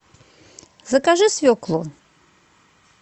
закажи свеклу